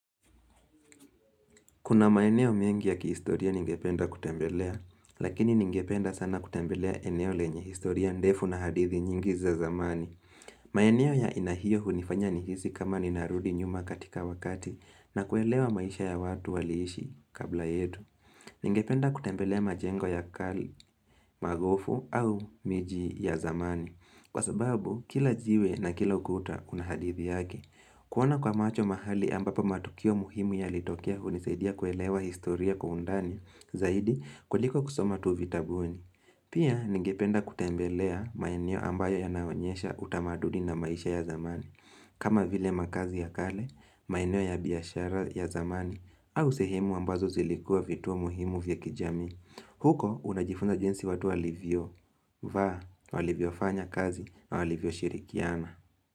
Kuna maeneo mengi ya kihistoria ningependa kutembelea, lakini ningependa sana kutembelea eneo lenye historia ndefu na hadithi nyingi za zamani. Maeneo ya aina hiyo hunifanya nihisi kama ninarudi nyuma katika wakati na kuelewa maisha ya watu waliishi kabla yetu. Ningependa kutembelea majengo ya kale, magofu au miji ya zamani. Kwa sababu, kila jiwe na kila ukuta unahadithi yake. Kuona kwa macho mahali ambapo matukio muhimu ya litokea unisaidia kuelewa historia kwa undani, zaidi kuliko kusomatu vitabuni. Pia ningependa kutembelea maeneo ambayo ya naonyesha utamaduni na maisha ya zamani. Kama vile makazi ya kale, maeneo ya biashara ya zamani, au sehemu ambazo zilikua vituo muhimu vya kijamii. Huko unajifunza jinsi watu walivyo, vaa, walivyo fanya kazi, walivyo shirikiana.